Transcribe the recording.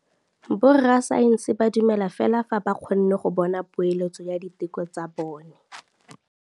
Borra saense ba dumela fela fa ba kgonne go bona poeletsô ya diteko tsa bone.